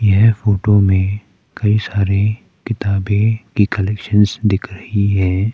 यह फोटो में कई सारे किताबें की कलेक्शंस दिख रही हैं।